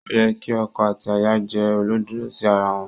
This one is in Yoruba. Ó yẹ kí ọkọ àti aya jẹ́ olódodo sí ara wọn.